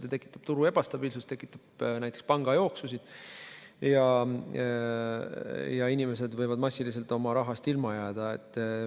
See tekitab turul ebastabiilsust, tekitab näiteks pangajooksusid, ja inimesed võivad massiliselt oma rahast ilma jääda.